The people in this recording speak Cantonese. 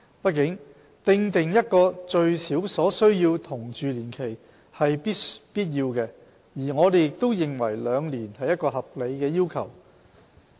畢竟，訂定一個最少所需同住年期是必要的，而我們認為兩年是一個合理的要求。